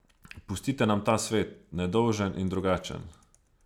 Pustite nam ta svet, nedolžen in drugačen.